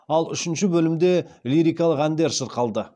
ал үшінші бөлімде лирикалық әндер шырқалды